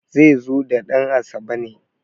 zai zo da dan`asabe ne